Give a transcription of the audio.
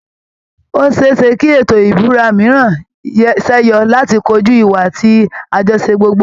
Ó ṣe é ṣe kí ètò ìbúra mìíràn ṣẹ́yọ láti kojú ìwà àti àjọṣe gbogbo